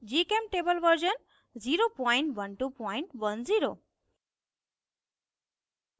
gchemtable version 01210